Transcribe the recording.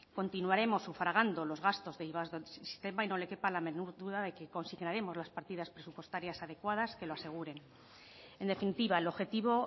continuaremos sufragando los gastos de iva del sistema y no le quepa la menor duda de que consignaremos las partidas presupuestarias adecuadas que lo aseguren en definitiva el objetivo